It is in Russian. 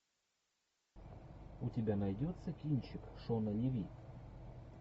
у тебя найдется кинчик шона леви